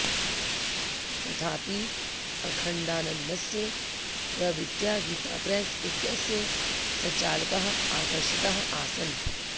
तथापि अखण्डानन्दस्य प्रवृत्त्या गीता प्रेस इत्यस्य सञ्चालकाः आकर्षिताः आसन्